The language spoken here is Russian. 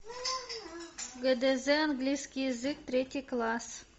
гдз английский язык третий класс